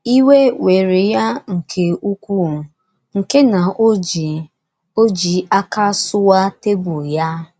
Ịwe wéré ya nke ukwuú nke na o ji o ji aka suwaa tebụl ya.